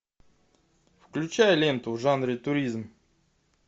включай ленту в жанре туризм